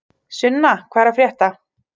Sunna, hvað er að frétta?